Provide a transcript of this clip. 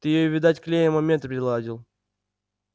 ты её видать клеем момент приладил